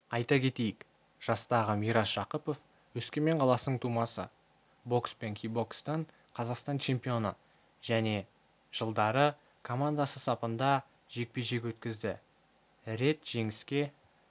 айта кетейік жастағы мирас жақыпов өскемен қаласының тумасы бокс пен кикбокстан қазақстан чемпионы және жылдары командасы сапында жекпе-жек өткізді рет жеңіске